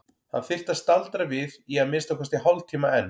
Hann þyrfti að staldra við í að minnsta kosti hálftíma enn.